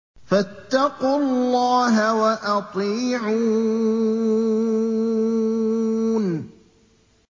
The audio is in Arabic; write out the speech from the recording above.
فَاتَّقُوا اللَّهَ وَأَطِيعُونِ